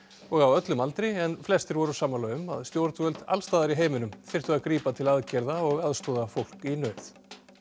og á öllum aldri en flestir voru sammála um að stjórnvöld allstaðar í heiminum þyrftu að grípa til aðgerða og aðstoða fólk í nauð